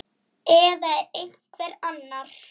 Eða er það einhver annar?